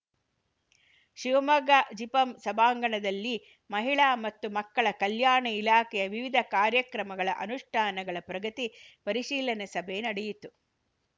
ಶಿವಮೊಗ್ಗ ಜಿಪಂ ಸಭಾಂಗಣದಲ್ಲಿ ಮಹಿಳಾ ಮತ್ತು ಮಕ್ಕಳ ಕಲ್ಯಾಣ ಇಲಾಖೆಯ ವಿವಿಧ ಕಾರ್ಯಕ್ರಮಗಳ ಅನುಷ್ಠಾನಗಳ ಪ್ರಗತಿ ಪರಿಶೀಲನೆ ಸಭೆ ನಡೆಯಿತು